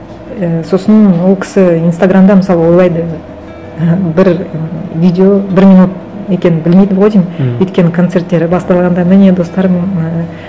і сосын ол кісі инстаграмда мысалы ойлайды бір видео бір минут екенін білмейді ғой деймін өйткені концерттері басталғанда міне достар ііі